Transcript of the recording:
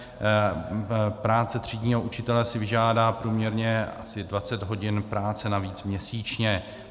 Práce třídního učitele si vyžádá průměrně asi 20 hodin práce navíc měsíčně.